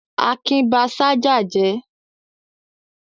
Akin ba ṣájà jẹ́?